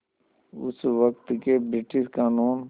उस वक़्त के ब्रिटिश क़ानून